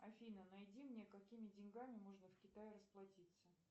афина найди мне какими деньгами можно в китае расплатиться